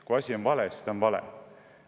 Kui asi on vale, siis ta on vale.